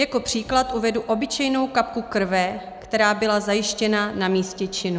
Jako příklad uvedu obyčejnou kapku krve, která byla zajištěna na místě činu.